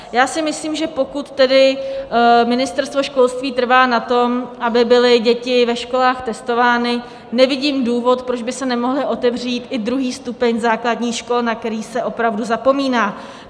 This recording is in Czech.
Já si myslím, že pokud tedy Ministerstvo školství trvá na tom, aby byly děti ve školách testovány, nevidím důvod, proč by se nemohl otevřít i druhý stupeň základních škol, na který se opravdu zapomíná.